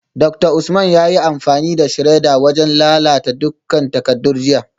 Dr Usman yayi amfani da shredder wajen lalata dukkan takardun jiya